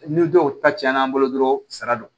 Ni dɔw ta tiɲɛna an bolo dɔrɔn sa don